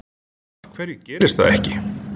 Af hverju gerist það ekki